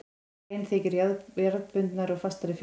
Rein þykir jarðbundnari og fastari fyrir.